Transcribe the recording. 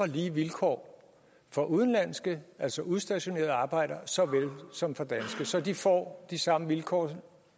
lige vilkår for udenlandske altså udstationerede arbejdere såvel som for danske så de får de samme vilkår